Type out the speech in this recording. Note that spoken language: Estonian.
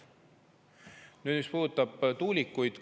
Nüüd sellest, mis puudutab tuulikuid.